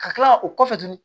Ka kila o kɔfɛ tuguni